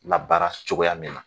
La baara cogoya min na .